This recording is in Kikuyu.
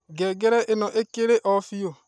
ngengere ĩno ĩkirio biũ